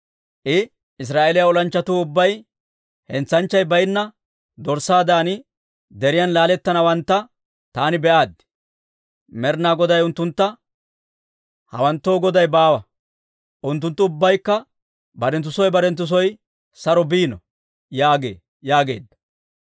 I, «Israa'eeliyaa olanchchatuu ubbay hentsanchchay baynna dorssaadan deriyaan laaletteeddawantta taani be'aaddi. Med'inaa Goday unttuntta, ‹Hawanttoo goday baawa. Unttunttu ubbaykka barenttu soo barenttu soo saro biino› yaagee» yaageedda.